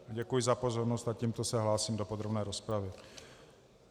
Děkuji za pozornost a tímto se hlásím do podrobné rozpravy.